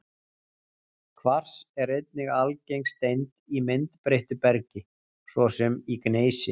Kvars er einnig algeng steind í myndbreyttu bergi, svo sem í gneisi.